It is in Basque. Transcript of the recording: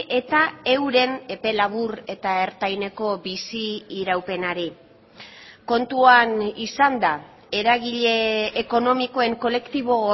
eta euren epe labur eta ertaineko bizi iraupenari kontuan izanda eragile ekonomikoen kolektibo